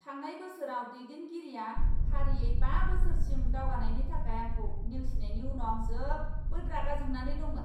थांनाय बोसोराव दैदेनगिरिया फारियै बा बोसोरसिम दावगानायनि थाखाय आंखौ नेवसिनायनि उनाव आं जोबोद रागा जोंनानै दंमोन।